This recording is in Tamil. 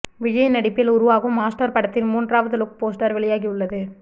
விஜய் நடிப்பில் உருவாகும் மாஸ்டர் படத்தின் மூன்றாவது லுக் போஸ்டர் வெளியாகி உள்ளது